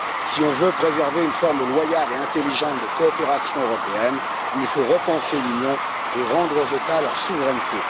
Si l'on veut préserver une forme loyale et intelligente de coopération européenne, il faut repenser l'Union et rendre aux États leur souveraineté.